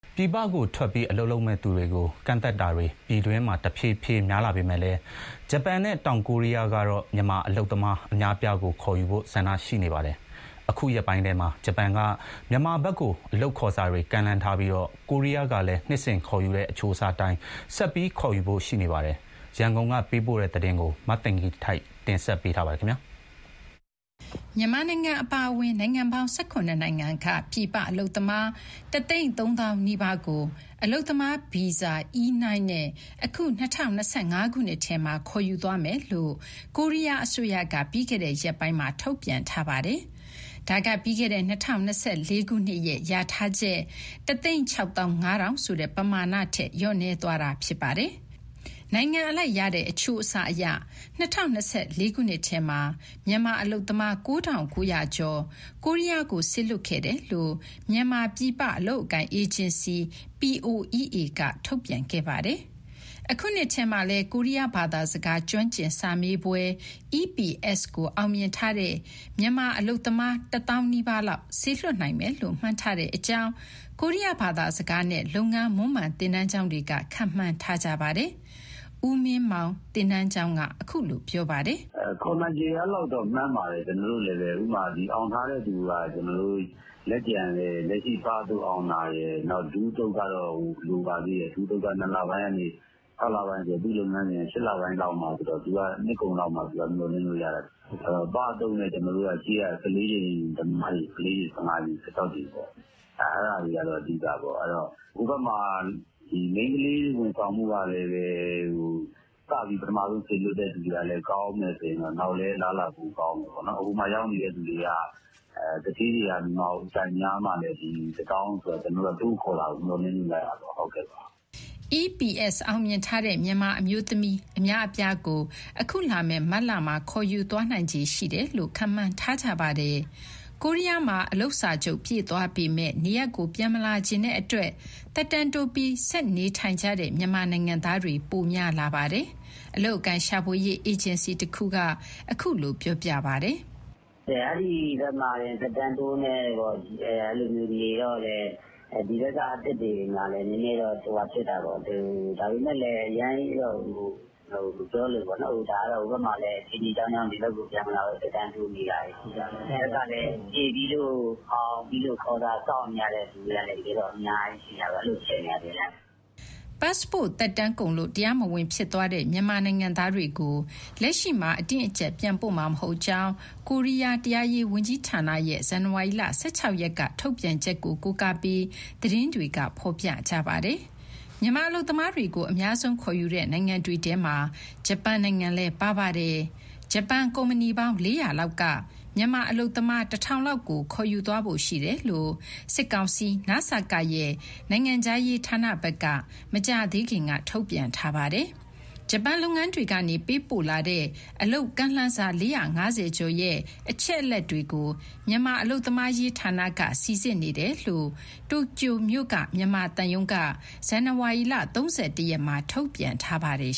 ပြည်ပကိုထွက်ပြီး အလုပ်လုပ်မယ့်သူတွေကို ကန့်သတ်တာတွေ ပြည်တွင်းမှာ တဖြည်းဖြည်း များလာပေမဲ့လည်း ဂျပန်နဲ့ တောင်ကိုရီးယားကတော့ မြန်မာအလုပ်သမား အများအပြားကို ခေါ်ယူဖို့ ဆန္ဒရှိနေပါတယ်။ အခုရက်ပိုင်းထဲမှာ ဂျပန်က မြန်မာဘက်ကို အလုပ်ခေါ်စာတွေ ကမ်းလှမ်းထားပြီး ကိုရီးယားကလည်း နှစ်စဉ်ခေါ်ယူတဲ့ အချိုးအစားအတိုင်း ဆက်ပြီး ခေါ်ယူဖို့ ရှိနေပါတယ်။ ရန်ကုန်ကနေ သတင်းပေးပို့ထားပါတယ်။ မြန်မာအပါအဝင် နိုင်ငံပေါင်း ၁၇ နိုင်ငံက ပြည်ပအလုပ်သမား ၁၃၀,၀၀၀ နီးပါးကို အလုပ်သမား ဗီဇာ (E-9) နဲ့ အခု ၂၀၂၅ ထဲမှာ ခေါ်ယူသွားမယ်လို့ ကိုရီးယားအစိုးရက ပြီးခဲ့တဲ့ရက်ပိုင်းမှာ ထုတ်ပြန်ထားပါတယ်။ ဒါက ပြီးခဲ့တဲ့ ၂၀၂၄ ခုနှစ်ရဲ့ လျာထားချက် ၁၆၅,၀၀၀ ဆိုတဲ့ပမာဏထက် လျော့နည်းသွားတာ ဖြစ်ပါတယ်။ နိုင်ငံအလိုက်ရတဲ့ အချိုးအစားအရ ၂၀၂၄ ထဲမှာ မြန်မာအလုပ်သမား ၉,၉၀၀ ကျော်ကို ကိုရီးယားကို စေလွှတ်ခဲ့တယ်လို့ မြန်မာ ပြည်ပအလုပ်အကိုင် အေဂျင်စီ POEA က ထုတ်ပြန်ခဲ့ပါတယ်။ အခုနှစ်ထဲမှာလည်း ကိုရီးယားဘာသာစကား ကျွမ်းကျင်စာမေးပွဲ (EPS) ကို အောင်မြင်ထားတဲ့ မြန်မာအလုပ်သမား ၁၀,၀၀၀ နီးပါးလောက် စေလွှတ်နိုင်မယ်လို့ မှန်းထားကြောင်း ကိုရီးယား ဘာသာစကားနဲ့ လုပ်ငန်းမွမ်းမံ သင်တန်းကျောင်းတွေက ခန့်မှန်းထားကြပါတယ်။ ဦးမင်းမောင် သင်တန်းကျောင်းက အခုလိုပြောပါတယ်။ "ခေါ်နိုင်ခြေ အဲလောက်တော့ မှန်းပါတယ် ကျနော်တို့လည်းပဲ။ အောင်ထားတဲ့သူက လက်ကျန်လည်း လက်ရှိ ပအသုတ်အောင်တာရယ် နောက် ဒုအသုတ်ကတော့ လိုပါသေးတယ်၊ ၂လပိုင်းကနေ ခြောက်လပိုင်းဆိုတော့ သူ့လုပ်ငန်းစဉ်က ၈ လပိုင်းမှဆိုတော့ နှစ်ကုန်လောက်မှ မျှော်လင့်လို့ရမှာ။ အဲဒီတော့ ပအသုတ်နဲ့ ရှေ့က ၁၄ ကြိမ်သမားတွေ၊ ၁၅ ကြိမ်၊ ၁၆ ကြိမ် အဲဒါတွေကတော့ အဓိကပေါ့။ အဲဒီတော့ ဟိုဘက်မှာ မိန်းကလေး ဝန်ဆောင်မှုကလည်း စပြီး ပထမဦးဆုံး စေလွှတ်တဲ့သူတွေကလည်း ကောင်းမယ်ဆိုရင် နောက်လည်း အလားအလာ ပိုကောင်းမယ်ပေါ့။ ဟိုမှာရောက်နေတဲ့သူက သူဌေးတွေက မြန်မာကို အကြိုက်များမှလည်း ဒီ ၁၀,၀၀၀ ဆိုတာ တိုးခေါ်တာကို မျှော်လင့်လို့ရမှာ။" EPS အောင်မြင်ထားတဲ့ မြန်မာအမျိုးသမီး အများအပြားကို အခုလာမယ့် မတ်လမှာ ခေါ်ယူသွားနိုင်ခြေ ရှိတယ်လို့ ခန့်မှန်းထားကြပါတယ်။ ကိုရီးယားမှာ အလုပ်စာချုပ် ပြည့်သွားပေမယ့် နေရပ်ကို ပြန်မလာချင်တဲ့အတွက် သက်တမ်းတိုးပြီး ဆက်နေထိုင်ကြတဲ့ မြန်မာနိုင်ငံသားတွေ ပိုများလာပါတယ်။ အလုပ်အကိုင်ရှာဖွေရေး အေဂျင်စီတခုက အခုလိုပြောပါတယ်။ "အဲဒီဘက်မှာ သက်တမ်းတိုးနဲ့ နေတော့လည်း ဒီဘက်က အသစ်တွေမှာလည်း နည်းနည်းတော့ ဟိုဟာဖြစ်တာပေါ့။ ဒါပေမဲ့ အရမ်းကြီးတော့ မပြောလိုဘူးပေါ့နော်။ ဒါကတော့ ဟိုဘက်မှာလည်း အခြေအနေ အကြောင်းကြောင်းကြောင့် ဒီဘက်ပြန်မလာဘဲ သက်တမ်းတိုးနေတာတွေ ရှိတာပေါ့။ ဒီဘက်ကလည်း (EPS) ဖြေပြီးလို့ အောင်ပြီးလို့ ခေါ်စာစောင့်နေရတဲ့ သူတွေကလည်း အများကြီးဖြစ်နေတာ အခြေအနေက။" ပတ်စ်ပို့သက်တမ်းကုန်လို့ တရားမဝင်ဖြစ်သွားတဲ့ မြန်မာနိုင်ငံသားတွေကို လက်ရှိမှာ အတင်း အကျပ် ပြန်ပို့မှာမဟုတ်ကြောင်း ကိုရီးယား တရားရေးဝန်ကြီးဌာနရဲ့ ဇန်နဝါရီလ ၁၆ရက်က ထုတ်ပြန်ချက်ကို ကိုးကားပြီး သတင်းတွေက ဖော်ပြခဲ့ပါတယ်။ မြန်မာအလုပ်သမားတွေကို အများဆုံးခေါ်ယူတဲ့ နိုင်ငံတွေထဲမှာ ဂျပန်နိုင်ငံလည်း ပါပါတယ်။ ဂျပန်ကုမ္ပဏီပေါင်း ၄၀၀ လောက်ကလည်း မြန်မာအလုပ်သမား ၁,၁၀၀ လောက်ကို ခေါ်ယူသွားဖို့ ရှိတယ်လို့ စစ်ကောင်စီ နစကရဲ့ နိုင်ငံခြားရေးဌာနဘက်က မကြာသေးခင်က ထုတ်ပြန်ထားပါတယ်။ ဂျပန်လုပ်ငန်းတွေကနေ ပေးပို့လာတဲ့ အလုပ်ကမ်းလှမ်းစာ ၄၅၀ ကျော်ရဲ့ အချက်အလက်တွေကို မြန်မာ အလုပ်သမားရေးဌာနက စိစစ်နေတယ်လို့ တိုကျိုမြို့ မြန်မာသံရုံးက ဇန်နဝါရီလ ၃၁ ရက်မှာ ထုတ်ပြန်ထားပါတယ်